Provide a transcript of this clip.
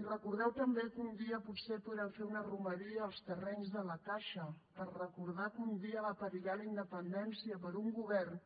i recordeu també que un dia potser podrem fer una romeria als terrenys de la caixa per recordar que un dia va perillar la independència per un govern